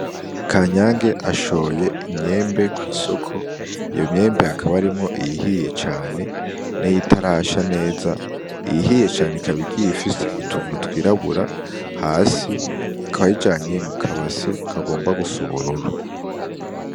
Kanyange ashoye imyembe kw'isoko iyo myembe hakaba harimwo iyihiye cane niyitarasha neza iyihiye cane ikaba igiye ifise utuntu twirabura hasi akaba ayijanye mu kabase kagomba gusa n’ubururu.